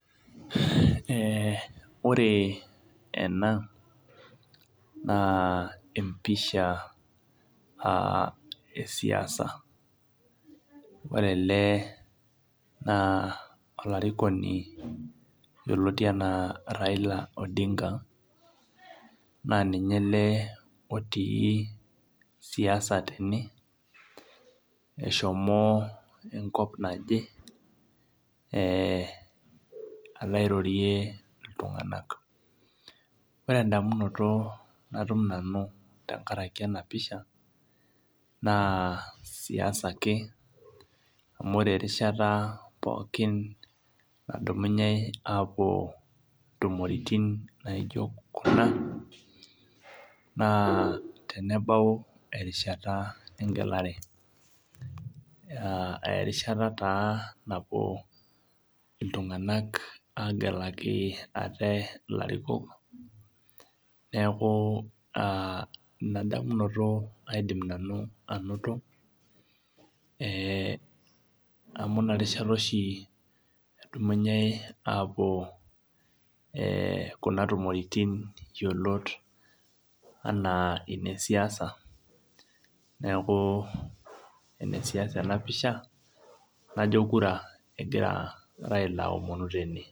Ore ena na empisha aa esiasa ore elebna olarikoni yioloti ana raila odinga na ninye ele otii siasa teneneshomo enkop naje alo airorie ltunganak ore ndamunoto natum nanu tenkaraki enapisha na siasa ake amu ore erishata pookin nadumunyei apuo ntumoritin naijo kuna na tenebau erishata engelare, na erisha nabo iltunganak agelaki ate larikok neaku inadamunoto nanu aidim ainoto ee amu inarishata oshi edumunyei apuo neaku enesiasa ebapisha najo kura egira aomonu tene.